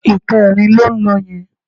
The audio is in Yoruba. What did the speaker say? Ìkẹrin ló ń lọ yẹn